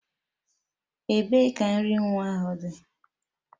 Ebee ka nri nwa ahụ dị?